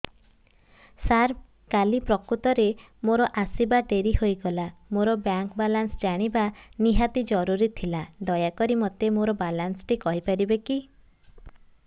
ସାର କାଲି ପ୍ରକୃତରେ ମୋର ଆସିବା ଡେରି ହେଇଗଲା ମୋର ବ୍ୟାଙ୍କ ବାଲାନ୍ସ ଜାଣିବା ନିହାତି ଜରୁରୀ ଥିଲା ଦୟାକରି ମୋତେ ମୋର ବାଲାନ୍ସ ଟି କହିପାରିବେକି